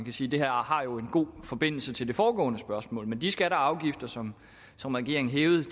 sige det her har en god forbindelse til det foregående spørgsmål at de skatter og afgifter som som regeringen hævede